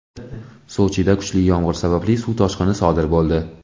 Sochida kuchli yomgʼir sababli suv toshqini sodir boʼldi.